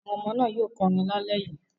Àwọn ọmọ náà yóò kọrin lálẹ́ yìí.